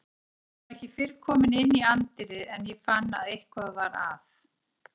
Ég var ekki fyrr kominn inn í anddyrið en ég fann að eitthvað var að.